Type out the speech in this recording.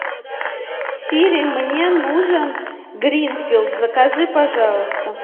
сири мне нужен гринфилд закажи пожалуйста